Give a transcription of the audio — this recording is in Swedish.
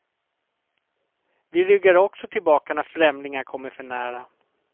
Vi ryggar också tillbaka när främlingar kommer för nära.